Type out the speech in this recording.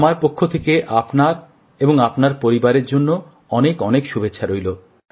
আমার পক্ষ থেকে আপনাকে এবং আপনার পরিবারকে অনেক অনেক শুভেচ্ছা রইল